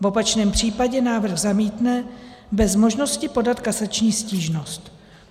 V opačném případě návrh zamítne bez možnosti podat kasační stížnost.